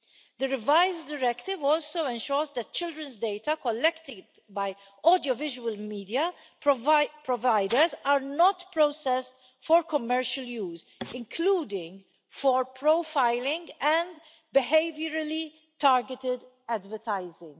The revised Directive also ensures that children's data collected by audiovisual media providers are not process for commercial use, including for profiling and behaviourally targeted advertising.